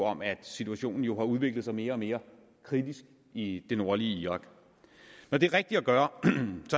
om at situationen jo har udviklet sig mere og mere kritisk i det nordlige irak når det er rigtigt at gøre